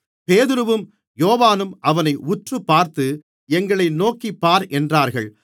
பேதுருவும் யோவானும் அவனை உற்றுப்பார்த்து எங்களை நோக்கிப்பார் என்றார்கள்